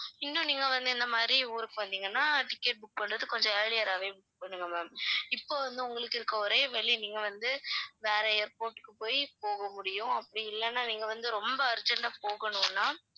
இன்னும் நீங்க வந்து இந்த மாதிரி ஊருக்கு வந்தீங்கனா ticket book பண்றது கொஞ்சம் earlier ஆவே book பண்ணுங்க ma'am இப்ப வந்து உங்களுக்கு இருக்கிற ஒரே வழி நீங்க வந்து வேற airport க்கு போயி போக முடியும் அப்படி இல்லன்னா நீங்க வந்து ரொம்ப urgent ஆ போகணும்னா